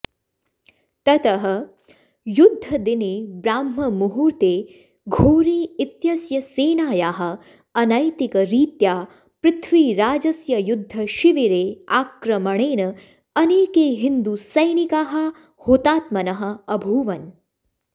ततः युद्धदिने ब्राह्ममुहूर्ते घोरी इत्यस्य सेनायाः अनैतिकरीत्या पृथ्वीराजस्य युद्धशिबिरे आक्रमणेन अनेके हिन्दुसैनिकाः हुतात्मनः अभूवन्